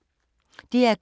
DR K